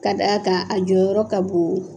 Ka d' aa kan a jɔyɔrɔ ka bon,